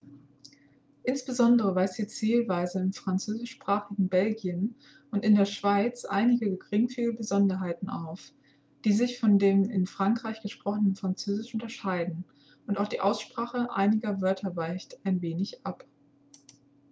insbesondere weist die zählweise im französischsprachigen belgien und in der schweiz einige geringfügige besonderheiten auf die sich von dem in frankreich gesprochenen französisch unterscheiden und auch die aussprache einiger wörter weicht ein wenig ab